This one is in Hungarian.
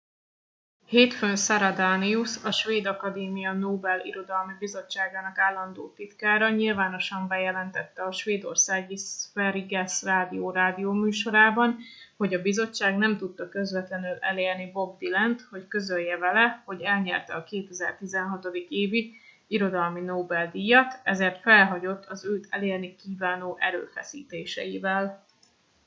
hétfőn sara danius a svéd akadémia nobel irodalmi bizottságának állandó titkára nyilvánosan bejelentette a svédországi sveriges radio rádióműsorában hogy a bizottság nem tudta közvetlenül elérni bob dylant hogy közölje vele hogy elnyerte a 2016. évi irodalmi nobel díjat ezért felhagyott az őt elérni kívánó erőfeszítéseivel